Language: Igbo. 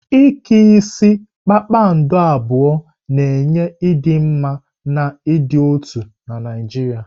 Ike isi kpakpando abụọ na-enye ịdị mma na ịdị n'otu na Naijiria.